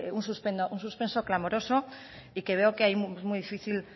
un suspenso clamoroso y que veo que es muy difícil